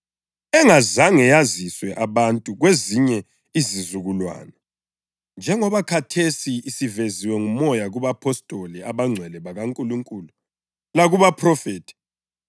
engazange yaziswe abantu kwezinye izizukulwane njengoba khathesi isiveziwe nguMoya kubapostoli abangcwele bakaNkulunkulu lakubaphrofethi.